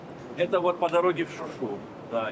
Bu Şuşaya gedən yoldur.